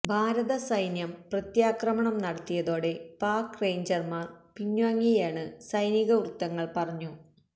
ഭാരത സൈന്യം പ്രത്യാക്രമണം നടത്തിയതോടെ പാക് റേഞ്ചര്മാര് പിന്വാങ്ങിയെന്ന് സൈനിക വൃത്തങ്ങള് പറഞ്ഞു